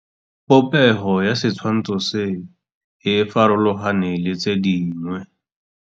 Popêgo ya setshwantshô se, e farologane le tse dingwe.